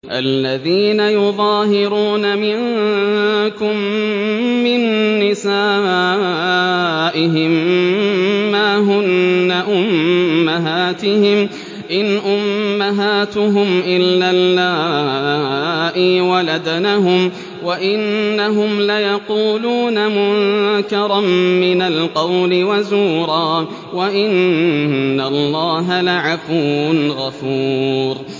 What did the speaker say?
الَّذِينَ يُظَاهِرُونَ مِنكُم مِّن نِّسَائِهِم مَّا هُنَّ أُمَّهَاتِهِمْ ۖ إِنْ أُمَّهَاتُهُمْ إِلَّا اللَّائِي وَلَدْنَهُمْ ۚ وَإِنَّهُمْ لَيَقُولُونَ مُنكَرًا مِّنَ الْقَوْلِ وَزُورًا ۚ وَإِنَّ اللَّهَ لَعَفُوٌّ غَفُورٌ